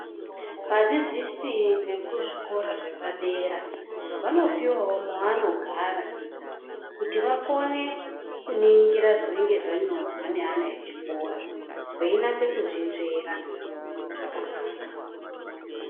Vadzidzisi vekuzvikora zvepadera, vanopowawo mwevanogara, kuti vakone kuningira zvinenge zvanyorwa neana echikora ,veinase kuzvinzvera zvakanaka.